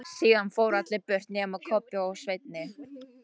Síðan fóru allir burt nema Kobbi og Svenni.